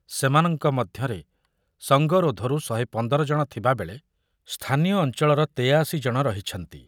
ସେମାନଙ୍କ ମଧ୍ୟରେ ସଙ୍ଗରୋଧରୁ ଶହେ ପନ୍ଦର ଜଣ ଥିବାବେଳେ ସ୍ଥାନୀୟ ଅଞ୍ଚଳର ତେୟାଅଶି ଜଣ ରହିଛନ୍ତି।